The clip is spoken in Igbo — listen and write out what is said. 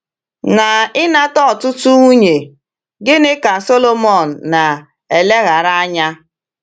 Na ịnata ọtụtụ nwunye, gịnị ka Sọlọmọn na-eleghara anya?